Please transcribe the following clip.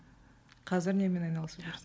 қазір немен айналысып жүрсің